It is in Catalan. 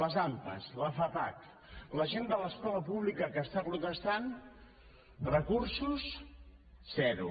les ampa la fapac la gent de l’escola pública que està protestant recursos zero